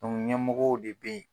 ɲɛmɔgɔw de bɛ yen.